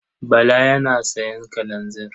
Bala yana sayan kalanzir.